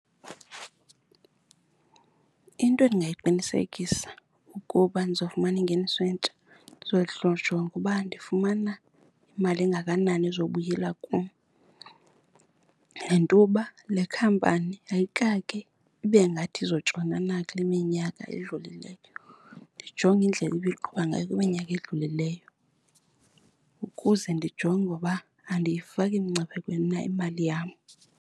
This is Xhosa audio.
Into endingayiqinisekisa ukuba ndizawufumana ingeniso entsha, ndizojonga ukuba ndifumana imali engakanani ezobuyela kum nentoba le khampani ayikake ibe ngathi izotshona kule minyaka edlulileyo. Ndijonge indlela ibiqhuba ngayo kwiminyaka edlulileyo ukuze ndijonge uba andiyifaki mngciphekweni na imali yam.